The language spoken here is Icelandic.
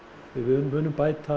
við munum bæta